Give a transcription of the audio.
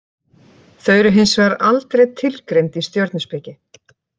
Þau eru hins vegar aldrei tilgreind í stjörnuspeki.